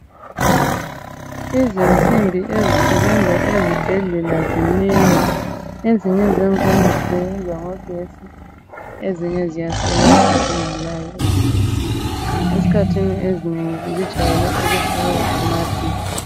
Izinsimbi ezisebenza ezibhedlela zinengi. Ezinye zakhona zisebenza ngogetsi ezinye ziyasebenza zingelaye ugetsi. Esikhathini esinengi zijeyele ukufakwa amavili.